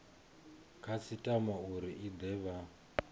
khasitama uri i de vha